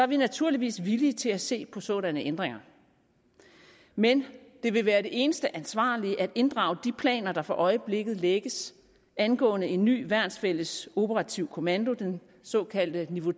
vi naturligvis villige til at se på sådanne ændringer men det vil være det eneste ansvarlige at inddrage de planer der for øjeblikket lægges angående en ny værnsfælles operativ kommando den såkaldte niveau